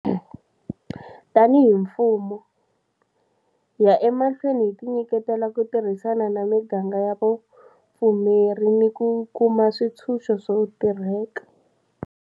Tanihi mfumo, hi ya emahlweni hi tinyiketela ku tirhisana na miganga ya vupfumeri ni ku kuma switshunxo swo tirheka.